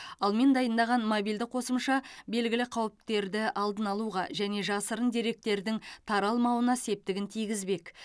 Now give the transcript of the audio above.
ал мен дайындаған мобильді қосымша белгілі қауіптерді алдын алуға және жасырын деректердің таралмауына септігін тигізбек